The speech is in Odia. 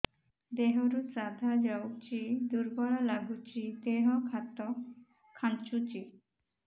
ଦେହରୁ ସାଧା ଯାଉଚି ଦୁର୍ବଳ ଲାଗୁଚି ଦେହ ହାତ ଖାନ୍ଚୁଚି